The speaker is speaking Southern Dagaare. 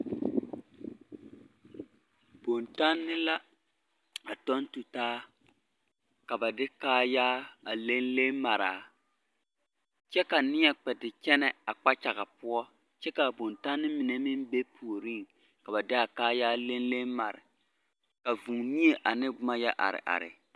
Bontanne la a tɔŋ tutaa ka ba de kaayaa a leŋ leŋ maraa kyɛ ka neɛ kpɛ te kyɛnɛ a kpakyaga poɔ kyɛ ka a bontanne mine meŋ be puoriŋ ka ba de a kaayaa leŋ leŋ mare ka vūū mie ane boma yɔ are are.